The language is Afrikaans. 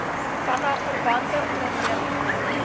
vanaf verwante ondernemings